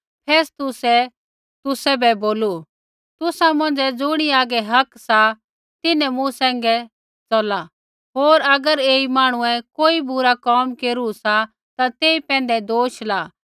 फेस्तुसै तुसै भी बोलू तुसा मौंझ़ै ज़ुणी हागै हक सा तिन्हैं मूँ सैंघै च़ला होर अगर ऐई मांहणुऐ कोई बुरा कोम केरू सा ता तेई पैंधै दोष ला